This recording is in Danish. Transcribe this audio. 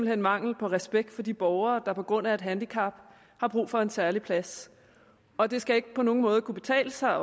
hen mangel på respekt for de borgere der på grund af et handicap har brug for en særlig plads og det skal ikke på nogen måde kunne betale sig